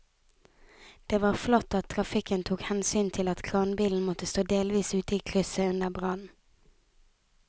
Det var flott at trafikken tok hensyn til at kranbilen måtte stå delvis ute i krysset under brannen.